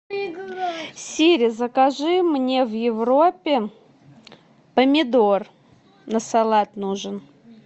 сири закажи мне в европе помидор на салат нужен